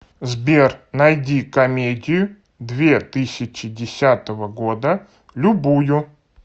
сбер найди комедию две тысячи десятого года любую